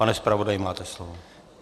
Pane zpravodaji, máte slovo.